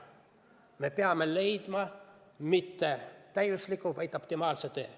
Me ei pea leidma mitte täiuslikku teed, vaid optimaalse tee.